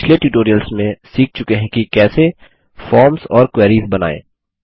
हम पिछले ट्यूटोरियल्स में सीख चुके हैं कि कैसे फॉर्म्स और क्वेरीस बनाएँ